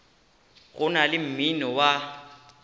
go na le mmino wa